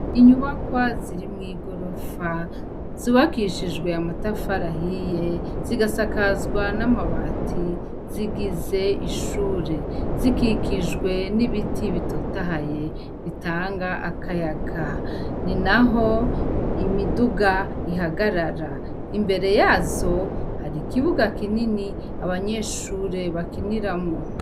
Inyubakwa ziri mw'igorofa zubakishijwe amatafarahiye, zigasakazwa n'amabati, zigize ishure, zikikijwe n'ibiti bitotahaye bitanga akayaga ninaho imiduga ihagarara, imbere yazo hari ikibuga kinini abanyeshure bakiniramwo.